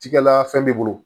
Cikɛla fɛn b'i bolo